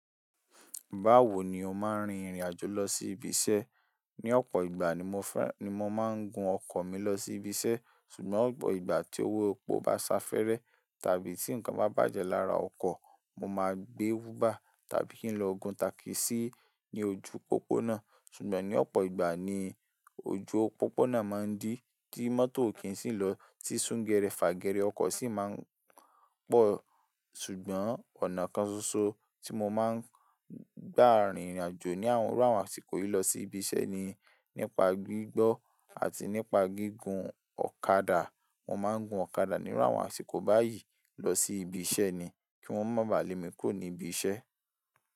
Báwo ni o máa ń rin ìrìnàjò lọ sí ibi iṣẹ́? Ni ọ̀pọ̀ ìgbà ni mo máa ń gun ọkọ̀ mi lọ sí ibi iṣẹ́, ṣùgbọ́n ìgbà tí owó epo bá sáfẹ́rẹ́ tàbí tí nǹkan bá bàjẹ́ lára ọkọ̀, mo máa gbé uber tàbí kí n lọ gun takisí ní ojú pópónà. Ṣùgbọ́n ní ọ̀pọ̀ ìgbà ni ojú pópónà máa ń dí, tí mọ́tò kì í sì lọ, tí súngẹrẹ fàgẹrẹ ọkọ̀ sì máa ń pọ̀. Ṣùgbọ́n ọ̀nà kan ṣoṣo tí mo máa ń gbà rin ìrìnàjò ní àwọn rírun àsìkò yìí lọ sí ibi iṣẹ́ ni nípa gbígbọ́ àti nípa gígùn ọ̀kadà. Mo máa ń gun ọ̀kadà ní iru awon àsìkò báyìí lọ sí ibi iṣẹ́ ni kí wọ́n má bà lé mi kúrò ní ibi iṣẹ́.